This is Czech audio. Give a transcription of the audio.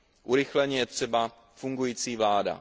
Urychleně je třeba fungující vláda.